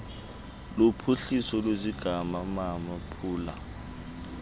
luphuhliso lwesigama namaphulo